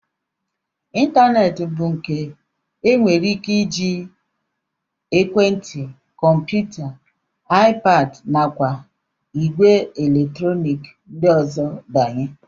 Ịntaneetị bụ nke e nwere ike iji ekwentị, kọmputa, iPad nakwa ìgwè eletrọnik ndị ọzọ banye